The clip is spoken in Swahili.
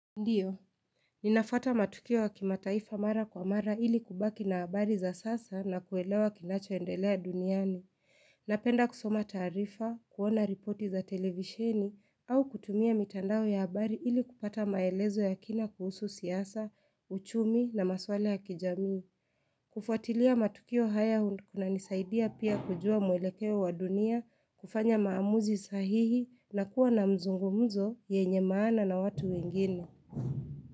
Ndiyo, ninafuata matukio ya kimataifa mara kwa mara ili kubaki na habari za sasa na kuelewa kinachoendelea duniani. Napenda kusoma taarifa, kuona ripoti za televisheni, au kutumia mitandao ya habari ili kupata maelezo ya kina kuhusu siasa, uchumi na maswala ya kijamii. Kufuatilia matukio haya kunanisaidia pia kujua mwelekeo wa dunia, kufanya maamuzi sahihi na kuwa na mzungumuzo yenye maana na watu wengine.